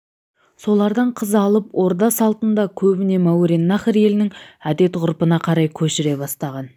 солардан қыз алып орда салтын да көбіне мауреннахр елінің әдет-ғұрпына қарай көшіре бастаған